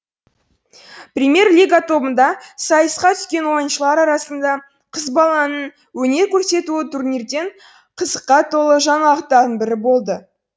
премьер лига тобында сайысқа түскен ойыншылар арасында қыз баланың өнер көрсетуі турнирдің қызыққа толы жаңалықтарының бірі болды